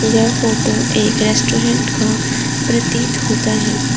यह फोटो एक रेस्टोरेंट का प्रतीत होता है।